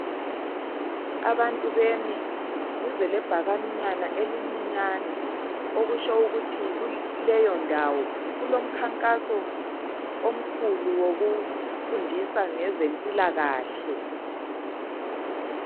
Abantu bezempilakahle bamile duze lebhakani elincane , kutsho kukhona umkhankaso ozabakhona kuleyo ndawo wokufundisa ngezempilakahle.